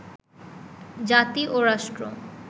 জাতি ও রাষ্ট্র